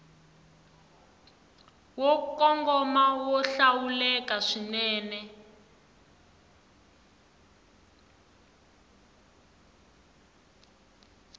yo kongoma yo hlawuleka swinene